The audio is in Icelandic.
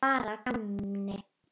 Bara að gamni.